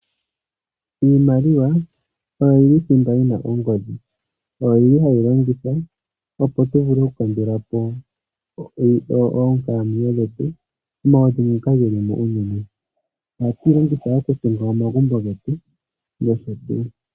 Iimaliwa oyo yili thimba yina ongodhi. Oyo yili hayi longithwa oku kalekapo oonkalamwenyo dhetu omaudhingu ngoka geli mo ogendji. Oha tuyi longitha okutunga omagumbo getu noshotuu.